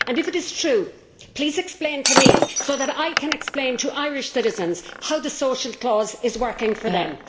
If it is true, please explain to me, so that I can explain to Irish citizens, how the social clause is working for them.